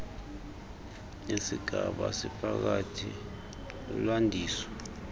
yesigaba esiphakathi lulwandiso